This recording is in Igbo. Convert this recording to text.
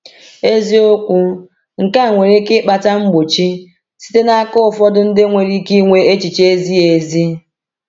Eziokwu, nke a nwere ike ịkpata mgbochi site n’aka ụfọdụ ndị nwere ike ịnwe echiche ezighi ezi.